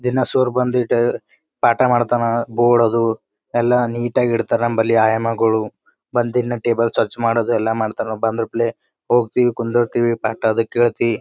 ದಿನ ಸರ್ ಬಂದಿಟ್ ಪಾಠ ಮಾಡ್ತಾನ ಬೋರ್ಡ್ ಅದು ಎಲ್ಲ ನೀಟ್ ಆಗಿ ಇಟ್ಟಿರ್ತರ ನಮ್ಮಲ್ಲಿ ಆಯಮ್ಮಗಳು ಬಂದು ಇನ್ನು ಟೇಬಲ್ ಸ್ವಚ್ ಮಾಡೋದು ಎಲ್ಲ ಮಾಡ್ತಾರಾ ನಾವ ಬಂದ್ರಪ್ಲೆ ಹೋಗತೀವಿ ಕುದ್ದಿರ್ತಿವಿ ಪಾಠ ಅದು ಕೇಳ್ತೀವಿ--